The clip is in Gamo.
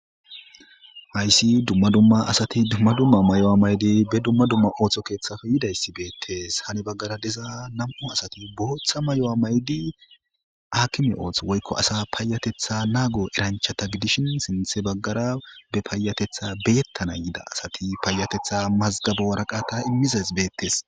Haysi duma dumma mayuwa mayidi dumma dumma otho kethape yidaysi betese han bagara diza nam'u asati Botha mayuwa mayidi akime otho woyko asa payatetha nago eranchata gidishin sintha bagara be payatetha beyetan yida asati payatetha masgabo waraqata imizays betese